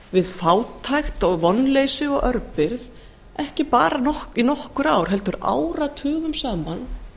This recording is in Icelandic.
við fátækt vonleysi og örbirgð ekki bara í nokkur ár heldur áratugum saman